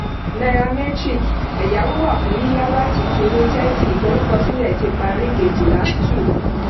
nairametrics ẹ̀yáwó wà fún yíyá láti kínní thirty ìforúkọ sílẹ̀ ti parí kéjìlá two